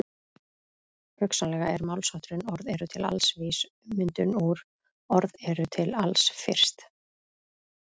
Hugsanlega er málshátturinn orð eru til alls vís ummyndum úr orð eru til alls fyrst.